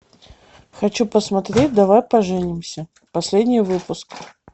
хочу посмотреть давай поженимся последний выпуск